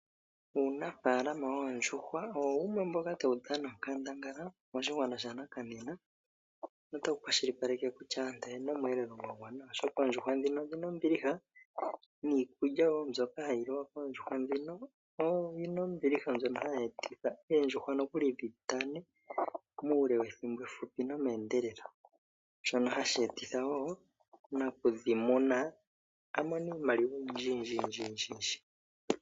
Uunafalama woondjuhwa owo wumwe mboka tawu dhana onkandangala moshigwana sha nakanena notawu kwashili paleke nokutya aantu oyena oshielelwa sha gwana oshoka oondjuhwa ndhino odhina ombiliha niikulya myono hayi liwa koondjuhwa ndhino oyina ombiliha mbyono hayi etitha oondjuhwa nokuli dhi tane muule wethimbo efupi nome endelelo shono hashi etitha nakudhi muna amone iimaliwa oyindji yindji yindji.